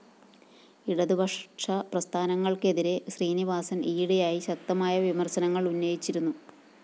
ഇടതുപക്ഷ പ്രസ്ഥാനങ്ങള്‍ക്കെതിരെ ശ്രീനിവാസന്‍ ഈയിടെയായി ശക്തമായ വിമര്‍ശനങ്ങള്‍ ഉന്നയിച്ചിരുന്നു